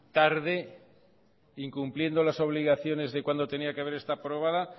tarde incumpliendo las obligaciones de cuando tenía que haber estado aprobada